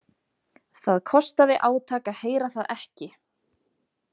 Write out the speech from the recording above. Það kostaði átak að heyra það ekki.